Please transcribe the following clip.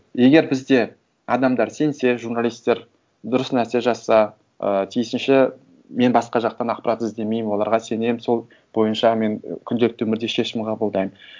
егер бізде адамдар сенсе журналистер дұрыс нәрсе жазса ыыы тиісінше мен басқа жақтан ақпарат іздемеймін оларға сенемін сол бойынша мен күнделікті өмірде шешім қабылдаймын